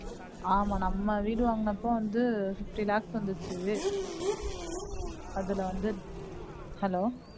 ஆமா நம்ம வீடு வாங்குன அப்போ வந்து fifty lakhs வந்துச்சு அதுல வந்து, ஹலோ